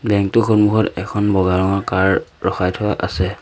Bank টোৰ সন্মুখত এখন বগা ৰঙৰ কাৰ ৰখাই থোৱা আছে।